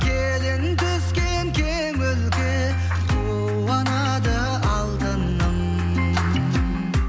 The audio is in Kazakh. келін түскен кең өлке қуанады алтыным